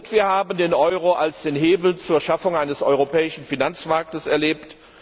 Wir haben den Euro als den Hebel zur Schaffung eines europäischen Finanzmarktes erlebt.